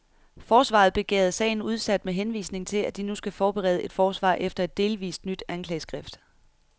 Forsvaret begærede sagen udsat med henvisning til, at de nu skal forberede et forsvar efter et delvist nyt anklageskrift.